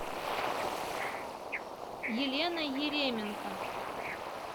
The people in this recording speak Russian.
елена еременко